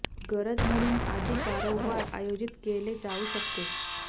गरज म्हणून अधिक वारंवार आयोजित केले जाऊ शकते